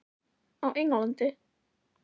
Á Englandi?